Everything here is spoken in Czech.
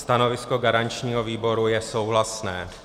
Stanovisko garančního výboru je souhlasné.